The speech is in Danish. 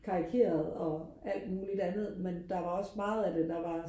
karikeret og alt muligt andet men der var også meget af det der var